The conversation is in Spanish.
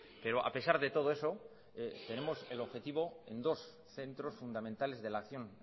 pero a pesar de todo eso tenemos el objetivo en dos centros fundamentales de la acción